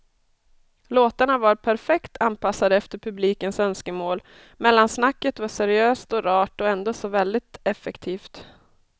Låtarna var perfekt anpassade efter publikens önskemål, mellansnacket var seriöst och rart och ändå så väldigt effektivt.